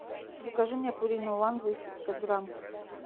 закажи мне пурину уан двести пятьдесят грамм